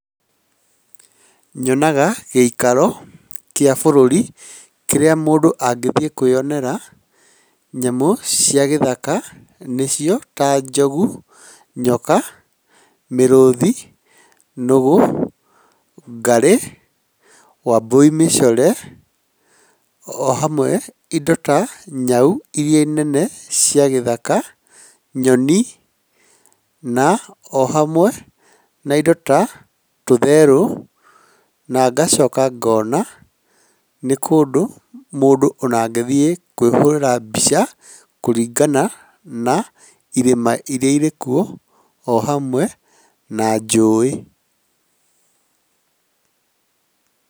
Nyonaga gĩikaro kĩa bũrũri, kĩrĩa mũndũ angĩthiĩ kwĩyonera nyamũ cia gĩthaka, nĩcio, ta njogu, nyoka, mĩrũthi, nũgũ, ngarĩ, wambũi mĩcore, o hamwe indo ta nyau irĩa nene cia gĩthaka , nyoni na o hamwe na indo ta tũtherũ , na ngacoka ngona nĩ kũndũ mũndũ ona angĩthiĩ kwĩhũrĩra mbica kũringana na irĩma irĩa irĩ kuo, o hamwe na njũĩ.